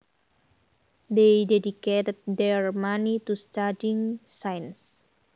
They dedicated their money to studying science